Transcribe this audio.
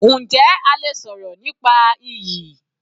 Njẹ́ a lè sọ̀rọ̀ nípa iyì?